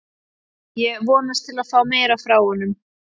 Ég vonast til að fá meira frá honum.